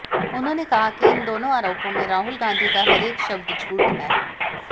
उन्होंने कहा कि इन दोनों आरोपों में राहुल गांधी का हरेक शब्द झूठ है